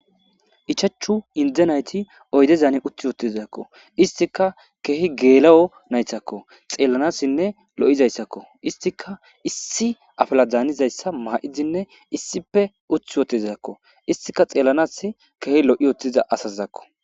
Ichachu inde nayti oyde zaani uthi wotizakko istika keehi geela'o naythakko xeellanassinne lo'izayssakko istika issi afela daanizayssa ma'izinne issipe uth wotizakko istika xeellanas keehi lo'i otiza asaizakko